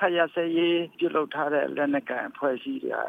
ခတ်ရပ်စဲရေးပြုလုပ်ထားတဲ့ လက်နက်ကိုင်အဖွဲ့အစည်းတွေဟာ